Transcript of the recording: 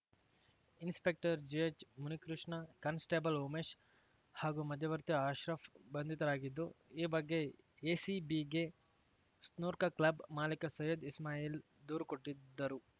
inspector ಜಿಎಚ್‌ಮುನಿಕೃಷ್ಣ constable Umesh ಹಾಗೂ ಮಧ್ಯವರ್ತಿ ಅಶ್ರಫ್‌ ಬಂಧಿತರಾಗಿದ್ದು ಈ ಬಗ್ಗೆ ಎಸಿಬಿಗೆ ಸ್ನೂರ್ಕ ಕ್ಲಬ್‌ ಮಾಲಿಕ ಸೈಯದ್‌ ಇಸ್ಮಾಯಿಲ್‌ ದೂರು ಕೊಟ್ಟಿದ್ದರು